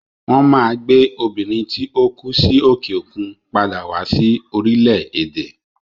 Won Maa gbe Obìnrin tí ó kú sí òkè òkun padà wá sí orílẹ̀ èdè